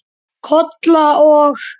Kolla og